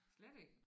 Slet ikke